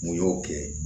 Mun y'o kɛ